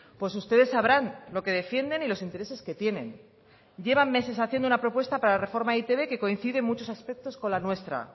pues ustedes sabrán lo que defienden y los intereses que tienen llevan meses haciendo una propuesta para la reforma de e i te be que coincide muchos aspectos con la nuestra